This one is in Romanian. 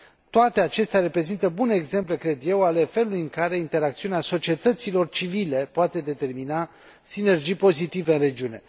Toate acestea reprezintă bune exemple, cred eu, ale felului în care interacțiunea societăților civile poate determina sinergii pozitive în regiune.